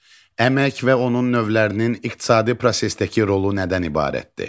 Əmək və onun növlərinin iqtisadi prosesdəki rolu nədən ibarətdir?